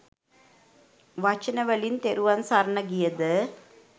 වචනවලින් තෙරුවන් සරණ ගිය ද